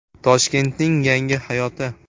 Toshkentning Yangi hayoti.